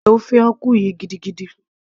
mo nífẹ̀ẹ́ ofe akwu yìí gidigidi